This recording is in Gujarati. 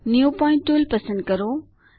ન્યૂ પોઇન્ટ ટુલ પસંદ કરો